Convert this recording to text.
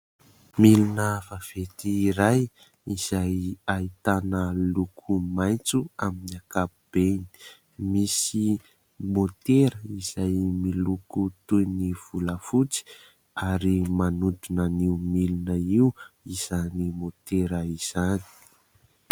Milina vaventy iray izay ahitana loko maitso amin'ny ankapobeny, misy môtera izay miloko toy ny volafotsy ary manodina an'io milina io izany môtera izany.